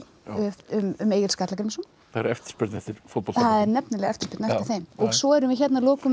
um Egil Skallagrímsson það er eftirspurn eftir fótboltabókum það er nefnilega eftirspurn eftir þeim svo erum við að lokum með